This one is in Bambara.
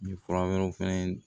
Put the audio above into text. Nin fura wɛrɛw fɛnɛ